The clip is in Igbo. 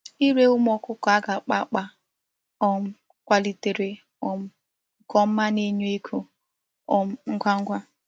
Ire umu okuko a ga-akpa akpa a um kwalitere um nke oma na-enye ego um ngwa ngwa.